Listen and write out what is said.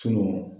Sunun